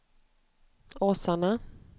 Åsarna